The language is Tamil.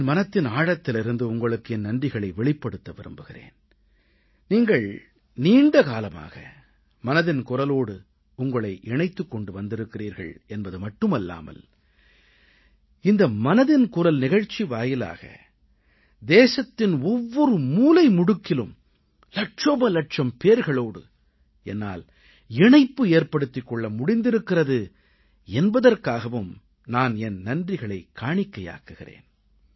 என் மனத்தின் ஆழத்திலிருந்து உங்களுக்கு என் நன்றிகளை வெளிப்படுத்த விரும்புகிறேன் நீங்கள் நீண்ட காலமாக மனதின் குரலோடு உங்களை இணைத்துக் கொண்டு வந்திருக்கிறீர்கள் என்பது மட்டுமல்லாமல் இந்த மனதின் குரல் நிகழ்ச்சி வாயிலாக தேசத்தின் ஒவ்வொரு மூலை முடுக்கிலும் இலட்சோபலட்சம் பேர்களோடு என்னால் இணைப்பு ஏற்படுத்திக் கொள்ள முடிந்திருக்கிறது என்பதற்காகவும் நான் என் நன்றிகளைக் காணிக்கையாக்குகிறேன்